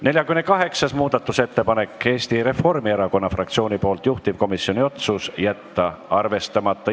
48. muudatusettepanek on Eesti Reformierakonna fraktsioonilt, juhtivkomisjoni otsus: jätta arvestamata.